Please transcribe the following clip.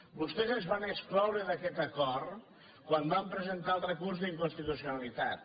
vostès es van excloure d’aquest acord quan van presentar el recurs d’inconstitucionalitat